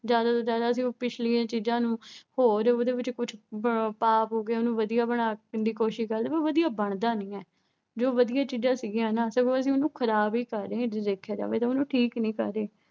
ਜ਼ਿਆਦਾ ਤੋਂ ਜ਼ਿਆਦਾ ਇਹ ਜੋ ਪਿਛਲੀਆਂ ਚੀਜ਼ਾਂ ਨੂੰ, ਹੋਰ ਉਹਦੇ ਵਿੱਚ ਕੁਛ ਪਾ ਪੂ ਕੇ ਉਹਨੂੰ ਵਧੀਆ ਬਣਾਉਣ ਦੀ ਕੋਸ਼ਿਸ਼ ਕਰਦੇ ਆ। ਪਰ ਉਹ ਵਧੀਆ ਬਣਦਾ ਨੀਂ ਆ। ਜੋ ਵਧੀਆ ਚੀਜ਼ਾਂ ਸੀਗੀਆਂ ਨਾ ਅਹ ਸਗੋਂ ਅਸੀਂ, ਉਨ੍ਹਾਂ ਨੂੰ ਖਰਾਬ ਹੀ ਕਰ ਰਹੇ ਆਂ, ਜੇ ਦੇਖਿਆ ਜਾਵੇ ਤਾਂ ਉਹਨੂੰ ਠੀਕ ਨੀਂ ਕਰ ਰਹੇ।